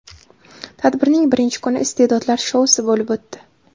Tadbirning birinchi kuni Iste’dodlar shousi bo‘lib o‘tdi.